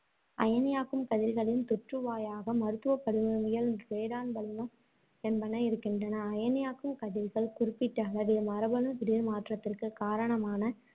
அயனியாக்கும் கதிர்களின் தொற்றுவாயாக மருத்துவப் படிமவியல் வளிமம் என்பன இருக்கின்றன. அயனியாக்கும் கதிர்கள் குறிப்பிட்டளவில் மரபணு திடீர்மாற்றத்திற்குக் காரணமான